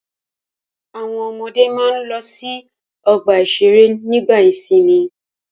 Àwọn ọmọdé máa ń lọ sí ọgbà-ìṣeré nígbà ìsìnmi.